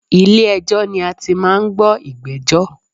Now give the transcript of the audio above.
Ilè ẹjọ́ ni a ti máa n gbọ́ ìgbéjọ́